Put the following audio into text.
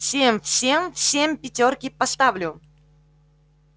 всем всем всем пятёрки поставлю